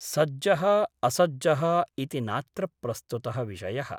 सज्जः असज्जः इति नात्र प्रस्तुतः विषयः ।